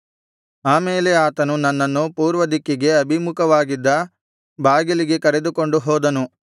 ಆಮೇಲೆ ಆತನು ನನ್ನನ್ನು ಪೂರ್ವದಿಕ್ಕಿಗೆ ಅಭಿಮುಖವಾಗಿದ್ದ ಬಾಗಿಲಿಗೆ ಕರೆದುಕೊಂಡು ಹೋದನು